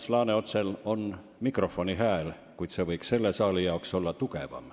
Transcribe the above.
Ants Laaneotsal on mikrofonihääl, kuid see võiks selle saali jaoks olla tugevam.